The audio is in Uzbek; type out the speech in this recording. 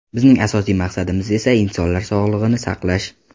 Bizning asosiy maqsadimiz esa insonlar sog‘lig‘ini saqlash.